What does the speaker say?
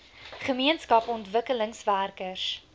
gemeenskap ontwikkelingswerkers